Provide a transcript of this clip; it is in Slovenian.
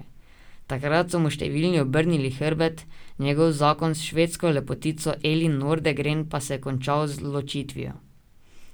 Takrat so mu številni obrnili hrbet, njegov zakon s švedsko lepotico Elin Nordegren pa se je končal z ločitvijo.